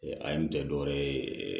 A ye nin kɛ dɔwɛrɛ ye